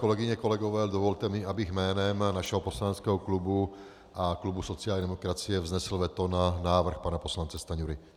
Kolegyně, kolegové, dovolte mi, abych jménem našeho poslaneckého klubu a klubu sociální demokracie vznesl veto na návrh pana poslance Stanjury.